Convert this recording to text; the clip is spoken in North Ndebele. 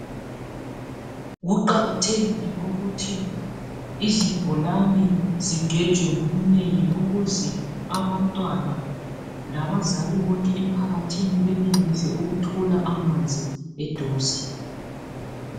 Kuqakathekile ukuthi izibholane zigejwe ngobunengi ukuze abantwana labazali bonke emphakathini benelise ukuthola amanzi eduze.